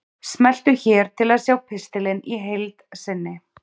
Smelltu hér til að sjá pistilinn í heild sinni